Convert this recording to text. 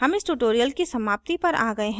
हम इस tutorial की समाप्ति पर आ गए हैं